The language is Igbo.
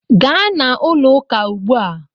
Gaa na ulo uka ugbu a!